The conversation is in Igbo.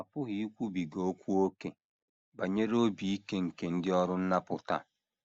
A pụghị ikwubiga okwu ókè banyere obi ike nke ndị ọrụ nnapụta a.